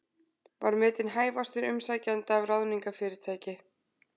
Var metinn hæfastur umsækjenda af ráðgjafarfyrirtæki